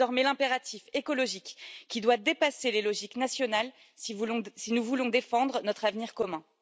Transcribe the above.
C'est désormais l'impératif écologique qui doit dépasser les logiques nationales si nous voulons défendre notre avenir commun.